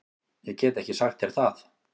Ég get ekki sagt þér það.